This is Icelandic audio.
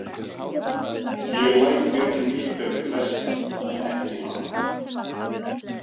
Ég læt mér nú líka við flesta en ekki hana.